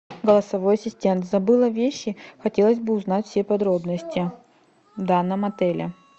голосовой ассистент забыла вещи хотелось бы узнать все подробности в данном отеле